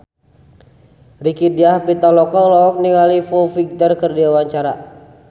Rieke Diah Pitaloka olohok ningali Foo Fighter keur diwawancara